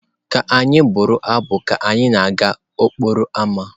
Ka anyị bụrụ abụ ka anyị na-aga n'okporo ámá.